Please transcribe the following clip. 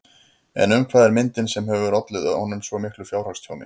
En um hvað er myndin sem hefur ollið honum svo miklu fjárhagstjóni?